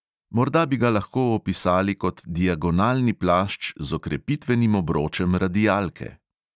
Morda bi ga lahko opisali kot diagonalni plašč z okrepitvenim obročem radialke.